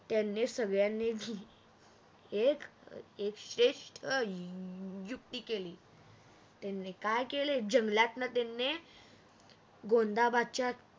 त्याने सगळ्याने एक श्रेष्ठ युक्ति केली त्याने काय केले जंगलातन त्याने गोंदाबादच्या